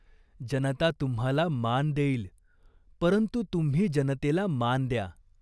जनता तुम्हाला मान देईल, परंतु तुम्ही जनतेला मान द्या.